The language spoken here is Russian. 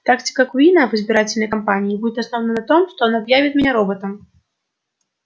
тактика куинна в избирательной кампании будет основана на том что он объявит меня роботом